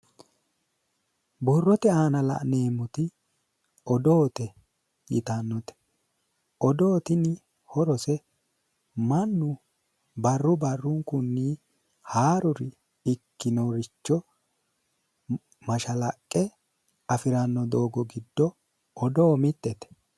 Borrote aana la'neemmoti odoote yittanote odoo tini horose mannu barru barrunkunni haarore ikkinoricho mashalaqqe afirano doogo giddo odoo mitete.